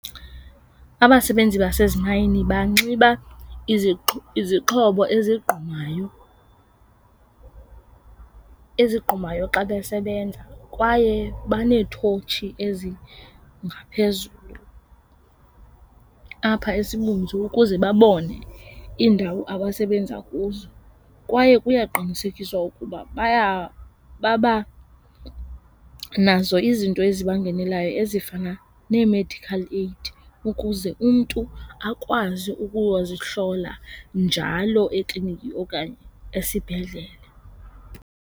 Abasebenzi basezimayini banxiba izixhobo ezigqumayo, ezigqumayo xa besebenza kwaye baneethotshi ezingaphezulu apha esibunzi ukuze babone iindawo abasebenza kuzo. Kwaye kuyaqinisekiswa ukuba baba nazo izinto ezibangenelayo ezifana nee-medical aid ukuze umntu akwazi ukuyozihlola njalo ekliniki okanye esibhedlele.